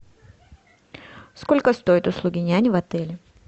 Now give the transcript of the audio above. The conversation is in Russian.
сколько стоят услуги няни в отеле